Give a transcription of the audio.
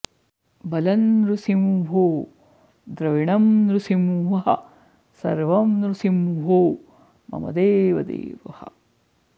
बलं नृसिंहो द्रविणं नृसिंहः सर्वं नृसिंहो मम देवदेवः